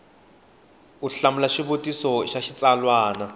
u hlamula xivutiso xa xitsalwana